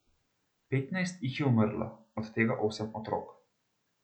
Petnajst jih je umrlo, od tega osem otrok.